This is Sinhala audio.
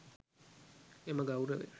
එම ගෞරවය